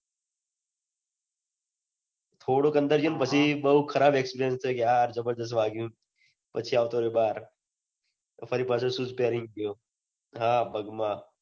થોડોક અંદર ગયો ને પછી બહુ ખરાબ experience થયો કે હા જબરદસ્ત વાગ્યું પછી આવતો રહ્યો બાર ફરી પચોઈ shoes પેહરીને ગયો હા પગમાં